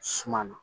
Suma na